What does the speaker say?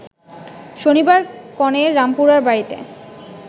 শনিবার কনের রামপুরার বাড়িতে